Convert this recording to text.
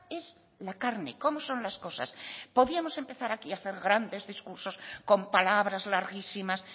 es la carne cómo son las cosas podíamos empezar aquí a hacer grandes discursos con palabras larguísimas